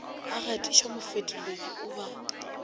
a gatišwa mofetoledi o ba